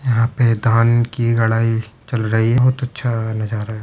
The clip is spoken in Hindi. यहाँ पे धान की रडाई चल रही बोहोत अच्छा नजारा है।